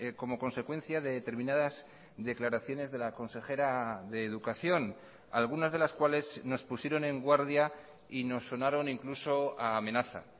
como consecuencia de determinadas declaraciones de la consejera de educación algunas de las cuales nos pusieron en guardia y nos sonaron incluso a amenaza